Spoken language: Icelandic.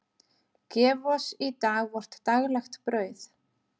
Gef oss í dag vort daglegt brauð.